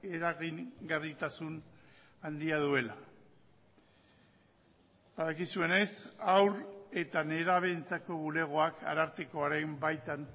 eragingarritasun handia duela badakizuenez haur eta nerabeentzako bulegoak arartekoaren baitan